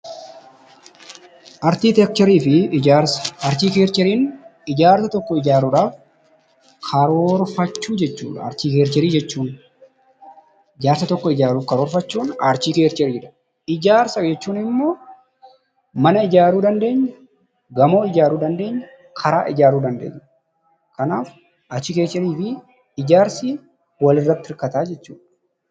Arkiteekcharii fi ijaarsa. Arkiteekchariin ijaarsa tokko ijaarudhaaf karoorfachuu jechuudha, arkteekcharii jechuun. Ijaarsa tokko ijaarachuuf karoorfachuun arkteekchariidha. Ijaarsa jechuun immoo mana ijaruu dandeenya, gamoo ijaruu dandeenya, karaa ijaruu dandeenya. Kanaaf arkteekcharii fi ijaarsi wal irratti hirkata jechuudha.